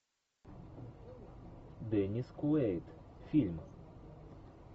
деннис куэйд фильм